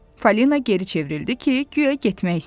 Falina geri çevrildi ki, guya getmək istəyir.